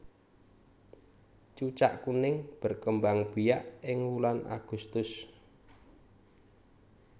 Cucak kuning berkembangbiak ing wulan Agustus